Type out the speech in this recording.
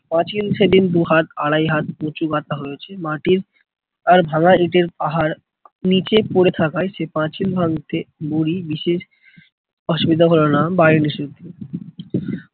পাঁচিল সেদিন দুহাত আড়াই হাত উঁচু গাঁথা হয়েছে। মাটির আর ভাঙা ইটের পাহাড় নীচে পরে থাকায় সে পাঁচিল ভাঙতে বুড়ি বিশেষ অসুবিধা হলোনা